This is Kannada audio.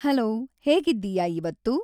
ಹಲೋ ಹೇಗಿದ್ದೀಯ ಇವತ್ತು